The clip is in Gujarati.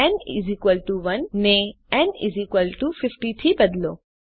ન 1 ને ન 50 થી બદલો